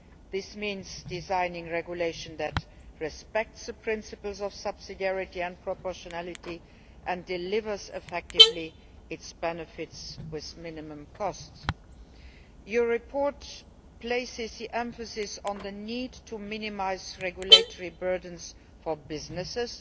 This means designing a regulation that respects the principles of subsidiarity and proportionality and delivers its benefits effectively, with minimum costs. The report places the emphasis on the need to minimise regulatory burdens for businesses